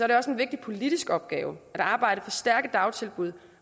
er også en vigtig politisk opgave at arbejde for stærke dagtilbud